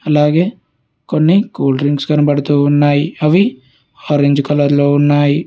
అలాగే కొన్ని కూల్డ్రింక్స్ కనబడుతూ ఉన్నాయి అవి ఆరెంజ్ కలర్ లో ఉన్నాయి.